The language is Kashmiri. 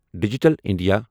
digital India